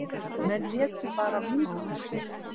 Menn létu bara múta sér.